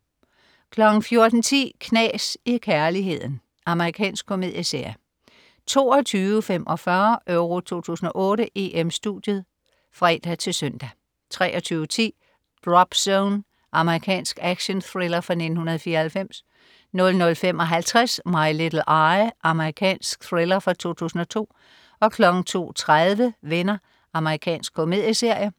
14.10 Knas i kærligheden. Amerikansk komedieserie 22.45 EURO 2008: EM-Studiet (fre-søn) 23.10 Drop Zone. Amerikansk actionthriller fra 1994 00.55 My Little Eye. Amerikansk thriller fra 2002 02.30 Venner. Amerikansk komedieserie